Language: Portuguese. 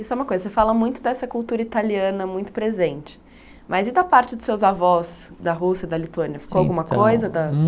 Isso é uma coisa, você fala muito dessa cultura italiana muito presente, mas e da parte dos seus avós da Rússia, da Lituânia, Então Ficou alguma coisa?